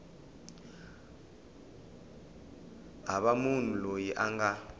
hava munhu loyi a nga